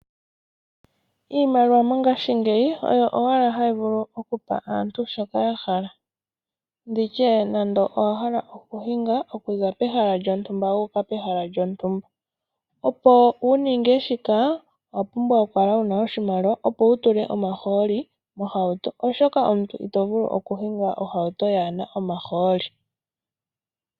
Iimaliwa mongashingeyi oyo owala hayi vulu okupa aantu shoka yahala, nditye nande owahala okuhinga wuninge shika owapumbwa okuhinga okuza pehala lyontumba wu uka kehala lyontumba . Opo wuninge shika owapumbwa okukala wuna oshimaliwa opo wutule omahooli mohauto oshoka omuntu itovulu okuhinga ohauto kayina omahooli.